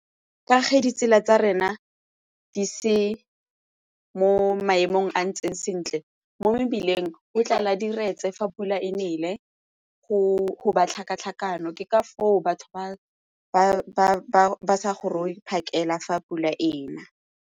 Ka ge ditsela tsa rena di se mo maemong a ntseng sentle mo mebileng go tlala diretse fa pula e nele go ba tlhakatlhakano ke ka foo batho ba sa goroge phakela fa pula e na.